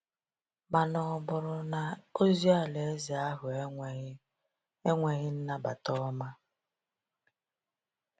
mana ọ bụrụ na ozi alaeze ahụ enweghị enweghị nnabata ọma?